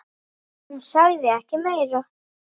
Hún sagði ekki meira.